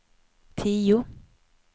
tio